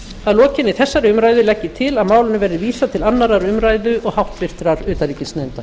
að lokinni þessari umræðu legg ég til að málinu verði vísað til annarrar umræðu og háttvirtur utanríkisnefndar